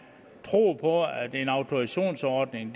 troet på at en autorisationsordning